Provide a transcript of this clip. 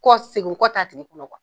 Ko segin kɔ t'a tigɛ kɔnɔ